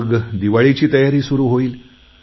मग दिवाळीची तयारी सुरु होईल